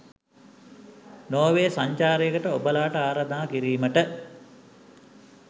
Norway සංචාරයකට ඔබලාට ආරාධනා කිරීමට